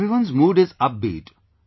Everyone's mood is upbeat